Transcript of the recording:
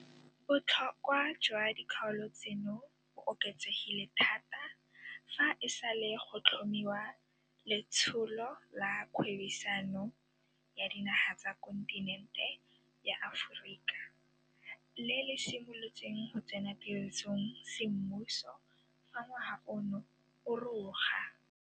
Botlhokwa jwa dikgaolo tseno bo oketsegile thata fa e sale go tlhomiwa Letsholo la Kgwebisano ya Dinaga tsa Kontinente ya Aforika le le simolotseng go tsena tirisong semmuso fa ngwaga ono o roga.